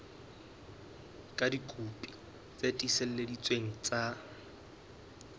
ka dikopi tse tiiseleditsweng tsa